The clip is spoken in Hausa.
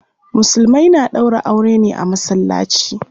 Musulmai na ɗaura aure ne a masallaci.